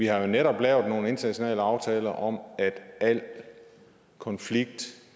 er jo netop lavet nogle internationale aftaler om at al konflikt